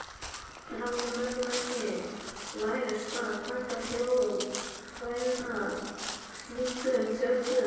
Enn hafði mönnum ekki lærst að taka þjóðfræðina slíkum tökum.